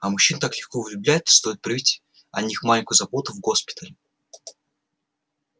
а мужчины так легко влюбляются стоит проявить о них маленькую заботу в госпитале